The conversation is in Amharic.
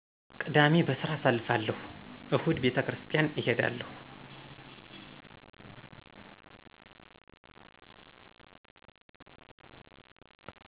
ቅዳሜ በስራ አሳልፍለሁ እሁድ ቤተክሪስታን እሔዳለሁ